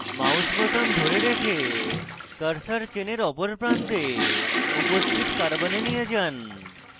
mouse বোতাম ধরে রেখে cursor চেনের অপর প্রান্তে উপস্থিত carbon নিয়ে যান